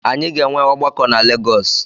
Anyị ga-enwe ọgbakọ na Legọs